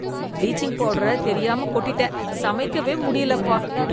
Bleaching powder தெரியாம கொட்டிட்டேன், சமைக்கவே முடியலப்பா.